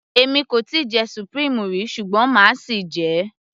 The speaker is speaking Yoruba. èmi kò tíì jẹ supreme rí ṣùgbọ́n máa sì jẹ ẹ́